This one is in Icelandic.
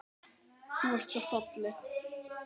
Þú ert svo falleg.